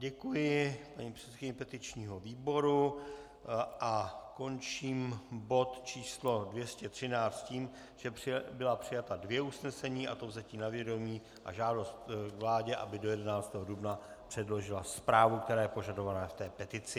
Děkuji paní předsedkyni petičního výboru a končím bod číslo 213 s tím, že byla přijata dvě usnesení, a to vzetí na vědomí a žádost vládě, aby do 11. dubna předložila zprávu, která je požadována v té petici.